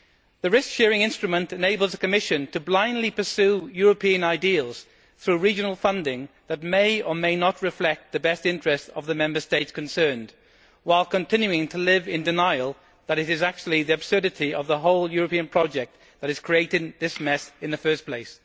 The risk sharing instrument enables the Commission to blindly pursue European ideals through regional funding that may or may not reflect the best interests of the Member State concerned, while continuing to live in denial, since it is actually the absurdity of the whole European project that is creating this mess in the first place.